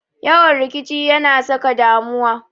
Yawan rikici ya na saka damuwa.